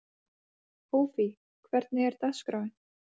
Hófí, hvernig er dagskráin?